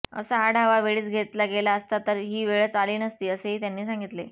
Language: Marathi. असा आढावा वेळीच घेतला गेला असता तर ही वेळच आली नसती असेही त्यांनी सांगितले